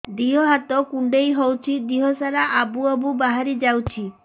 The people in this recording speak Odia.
ଦିହ ହାତ କୁଣ୍ଡେଇ ହଉଛି ଦିହ ସାରା ଆବୁ ଆବୁ ବାହାରି ଯାଉଛି